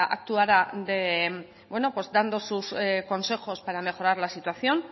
actuara dando sus consejos para mejorar la situación